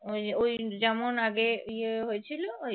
ওই ওই যেমন আগে বিয়ে হয়েছিল ওই